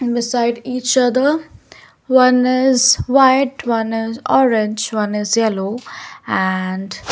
beside each other one is white one is orange one is yellow and --